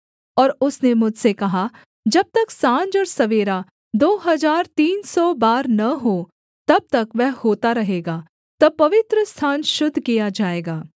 और उसने मुझसे कहा जब तक साँझ और सवेरा दो हजार तीन सौ बार न हों तब तक वह होता रहेगा तब पवित्रस्थान शुद्ध किया जाएगा